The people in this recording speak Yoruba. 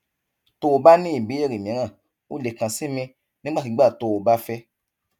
tó o bá ní ìbéèrè mìíràn o lè kàn sí mi nígbàkigbà tó o bá fẹ